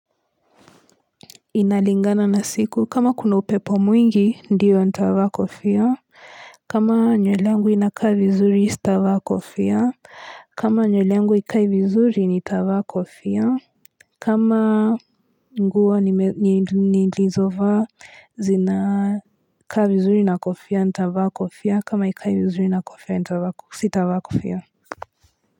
Inalingana na siku kama kuna upepo mwingi ndio nitavaa kofia kama nywele yangu inakaa vizuri sitavaa kofia kama nywele yangu haikai vizuri nitavaa kofia kama nguo nilizovaa zinakaa vizuri na kofia nitavaa kofia kama haikai vizuri nitavaa kofia sitavaa kofia.